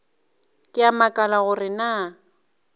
ke a makala gore na